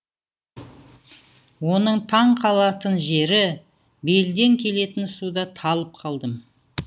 оның таңқалатын жері белден келетін суда талып қалдым